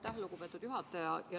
Aitäh, lugupeetud juhataja!